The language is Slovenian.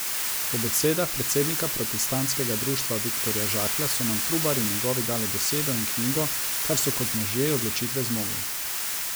Po besedah predsednika protestantskega društva Viktorja Žaklja so nam Trubar in njegovi dali besedo in knjigo, kar so kot možje odločitve zmogli.